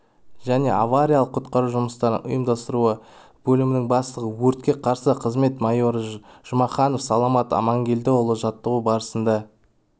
және авариялық-құтқару жұмыстарын ұйымдастыру бөлімінің бастығы өртке қарсы қызмет майоры жұмаханов саламат амангелдіұлы жаттығу барысында